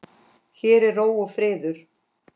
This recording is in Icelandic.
Hér er ró og friður.